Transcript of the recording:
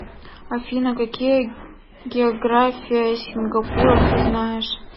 афина какие география сингапура ты знаешь